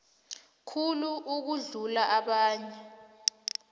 khulu ukudlula abanye